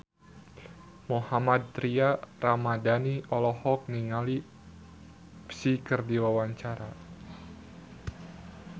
Mohammad Tria Ramadhani olohok ningali Psy keur diwawancara